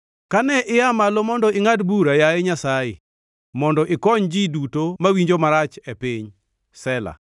Kane ia malo mondo ingʼad bura, yaye Nyasaye, mondo ikony ji duto mawinjo marach e piny. Sela